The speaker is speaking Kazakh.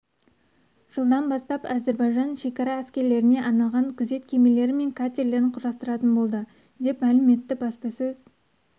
жылдан бастап әзербайжан шекара әскерлеріне арналған күзет кемелері мен катерлерін құрастыратын болды деп мәлім етті баспасөз